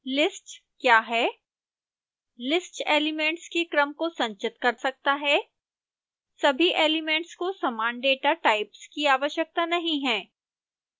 list क्या है